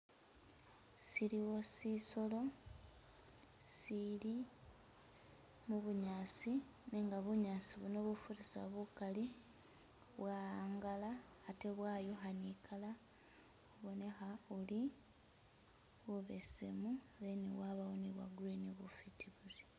Siliiwo sisolo sili mubunyaasi nenga bunyaasi buno bufurisa bukaali bwa'angala ate' bwayukha ni'colour ibonekha wuri bubesemu then bwabawo ni bwa'green bufiti buuri